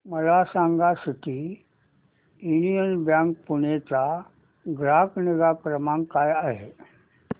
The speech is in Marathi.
मला सांगा सिटी यूनियन बँक पुणे चा ग्राहक निगा क्रमांक काय आहे